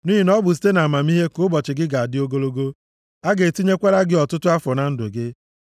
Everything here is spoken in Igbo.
Nʼihi na ọ bụ site na amamihe, ka ụbọchị gị ga-adị ogologo. A ga-etinyekwara gị ọtụtụ afọ na ndụ gị.